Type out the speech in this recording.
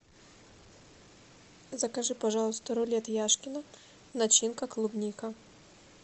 закажи пожалуйста рулет яшкино начинка клубника